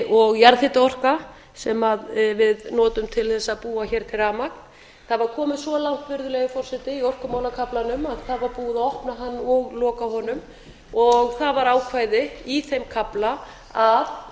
og jarðhitaorka sem við notum til þess að búa hér til rafmagn það var komið svo langt virðulegi forseti í orkumálakaflanum að það var búið að opna hann og loka honum og það var ákvæði í þeim kafla að